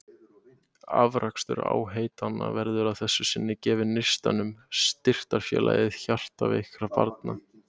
Afrakstur áheitanna verður að þessu sinni gefinn Neistanum, styrktarfélagi hjartveikra barna.